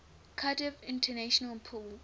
cardiff international pool